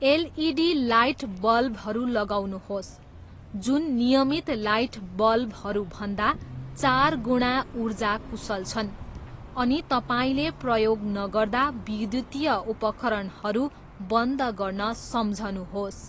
LED लाइटबल्बहरू लगाउनुहोस्, जुन नियमित लाइटबल्बहरू भन्दा चार गुणा ऊर्जा कुशल छन्, अनि तपाईँले प्रयोग नगर्दा विद्युतीय उपकरणहरू बन्द गर्न सम्झनुहोस्।